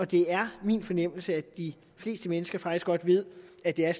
det er min fornemmelse at de fleste mennesker faktisk godt ved at det er